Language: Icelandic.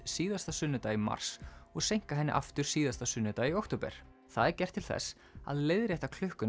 síðasta sunnudag í mars og seinka henni aftur síðasta sunnudag í október það er gert til þess að leiðrétta klukkuna